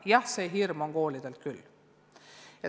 Jah, see hirm on koolidel küll.